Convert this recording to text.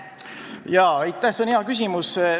Jaa, aitäh, see on hea küsimus!